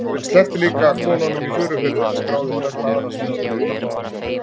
Hann sleppti líka konunum í Furufirði en skráði flesta aðra sem höfðu hjálpað honum.